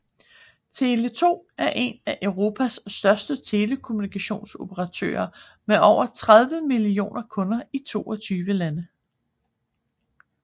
Tele2 er en af Europas største telekommunikationsoperatører med over 30 millioner kunder i 22 lande